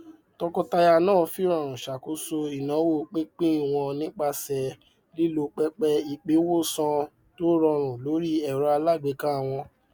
tọkọtaya náà fìrọrùn ṣàkóso ináwó pínpín wọn nípasẹ lílo pẹpẹ ìpín wónsan tórọrùn lórí ẹrọ alágbèéká wọn